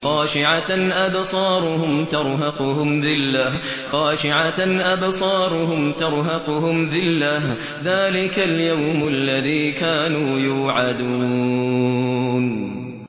خَاشِعَةً أَبْصَارُهُمْ تَرْهَقُهُمْ ذِلَّةٌ ۚ ذَٰلِكَ الْيَوْمُ الَّذِي كَانُوا يُوعَدُونَ